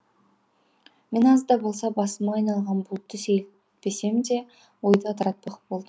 мен аз да болса басыма айналған бұлтты сейілтпесем де ойды ыдыратпақ болдым